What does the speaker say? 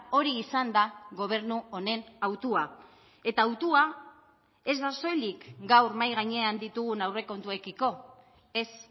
hori izan da gobernu honen hautua eta hautua ez da soilik gaur mahai gainean ditugun aurrekontuekiko ez